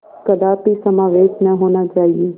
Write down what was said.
कदापि समावेश न होना चाहिए